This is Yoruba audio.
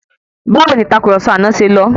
Báwo ni ìtàkurọ̀sọ àná ṣe lọ?